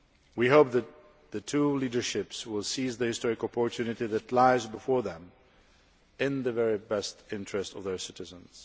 We hope the two leaderships will seize the historic opportunity that lies before them in the very best interests of their citizens.